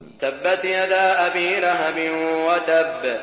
تَبَّتْ يَدَا أَبِي لَهَبٍ وَتَبَّ